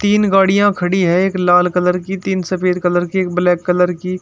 तीन गाड़ियां खड़ी है एक लाल कलर की तीन सफेद कलर की एक ब्लैक कलर की--